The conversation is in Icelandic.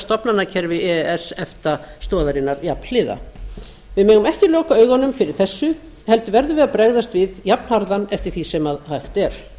stofnanakerfi e e s efta stoðarinnar jafnhliða við megum ekki loka augunum fyrir þessu heldur verðum við að bregðast við jafnharðan eftir því sem hægt er